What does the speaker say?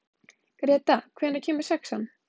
Greta, hvenær kemur sexan?